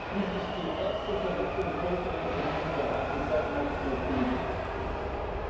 Dies ist die erste Verletzung im Völkerrecht in diesen Bereichen seit 1945 gewesen!